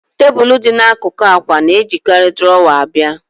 Tebụl dị n'akụkụ akwa na-ejikarị drawer abịa